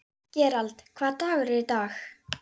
Gerald, hvaða dagur er í dag?